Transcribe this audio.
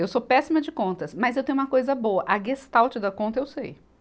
Eu sou péssima de contas, mas eu tenho uma coisa boa, a gestalt da conta eu sei.